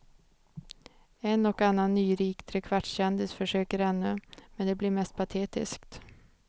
En och annan nyrik trekvartskändis försöker ännu, men det blir mest patetiskt.